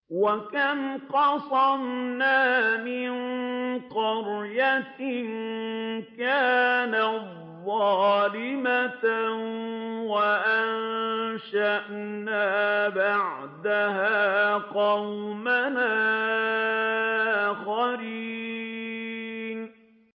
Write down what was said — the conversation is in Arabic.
وَكَمْ قَصَمْنَا مِن قَرْيَةٍ كَانَتْ ظَالِمَةً وَأَنشَأْنَا بَعْدَهَا قَوْمًا آخَرِينَ